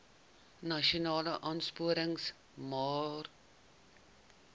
nasionale aansporingsmaatre ls